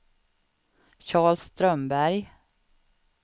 Charles Strömberg